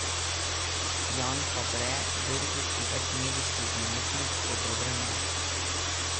Jan Fabre, belgijski večmedijski umetnik, o dobrem nosu.